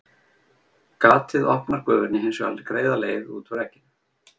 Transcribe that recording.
Gatið opnar gufunni hins vegar greiða leið út úr egginu.